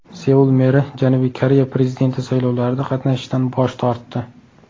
Seul meri Janubiy Koreya prezidenti saylovlarida qatnashishdan bosh tortdi.